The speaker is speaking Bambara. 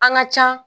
An ka ca